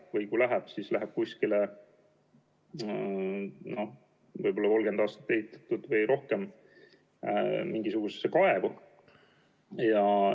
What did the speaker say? Või kui läheb, siis läheb mingisugusesse 30 või rohkem aastat tagasi ehitatud kaevu.